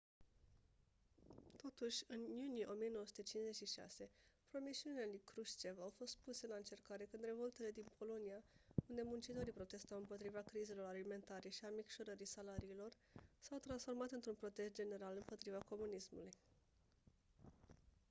totuși în iunie 1956 promisiunile lui krushchev au fost puse la încercare când revoltele din polonia unde muncitorii protestau împotriva crizelor alimentare și a micșorării salariilor s-au transformat într-un protest general împotriva comunismului